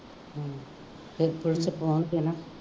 case ਉਲਟ ਪਾਉਣਗੇ ਨਾ